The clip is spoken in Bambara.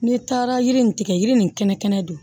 N'i taara yiri in tigɛ yiri nin kɛnɛ kɛnɛ don